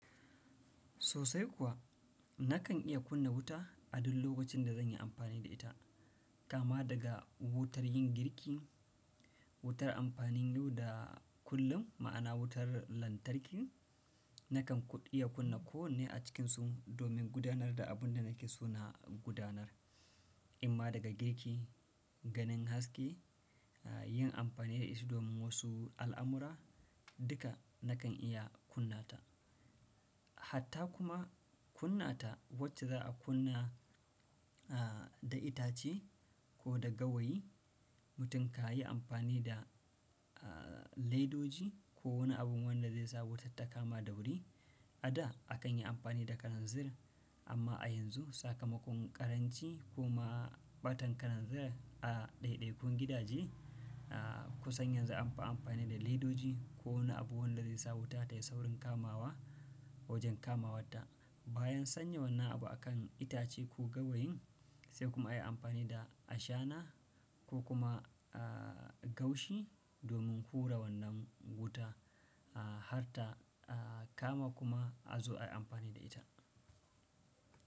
Sosai kuwa, nakan iya kunna wuta a duk lokacin da zan yi amfani da ita. Kama daga wutar yin girki, wutar amfanin yau da kullum, ma'ana wutar lantarki, nakan ko iya kunna ko wanne a cikinsu domin gudanar da abun da nake so na gudanar. Imma daga girki, ganin haske, yin amfani da shi domin wasu al'amura, duka nakan iya kunna ta. Hatta kuma kunna ta wacce za a kunna, a, da itace ko da gawayi, mutum ka yi amfani da, a, ledoji ko wani abu wanda zai sa wutar ta kama da wuri. A da akan yi amfani da kalanzir, amma a yanzu sakamakon ƙaranci ko ma ɓatan kalanzir a daidaikun gidaje, a, ku san yan zu an fi amfani da ledoji ko wani abu wanda zai sa wuta tayi saurin kamawa wajen kamawarta. Bayan sanya wannan abu a kan itace ko gawayin, sai kuma ayi amfani da ashana ko kuma, a, gaushi domin hura wannan wuta, a, har ta, a, kama kuma a zo ayi amfani da ita.